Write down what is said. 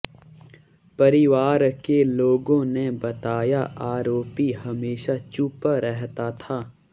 परिवार के लोगों ने बताया आरोपी हमेशा चुप रहता था